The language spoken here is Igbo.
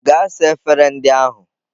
Gaa saa efere ndị ahụ!